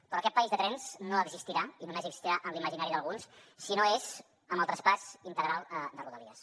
però aquest país de trens no existirà i només existirà en l’imaginari d’alguns si no és amb el traspàs integral de rodalies